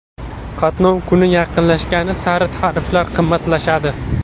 Qatnov kuni yaqinlashgani sari tariflar qimmatlashadi.